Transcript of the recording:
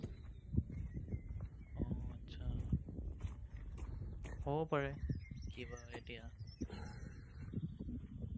আচ্ছা হ'ব পাৰে, কিবা এতিয়া